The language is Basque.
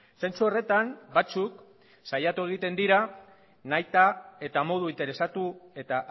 zentzu horretan batzuk saiatu egiten dira nahita eta modu interesatu eta